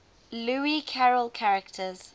lewis carroll characters